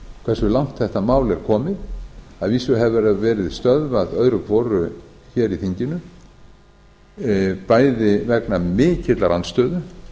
hversu langt þetta mál er komið að vísu hefur það verið stöðvað öðru hvoru hér í þinginu bæði vegna mikillar andstöðu